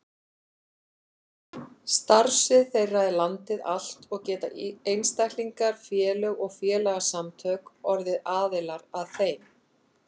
Starfsvið þeirra er landið allt og geta einstaklingar, félög og félagasamtök orðið aðilar að þeim.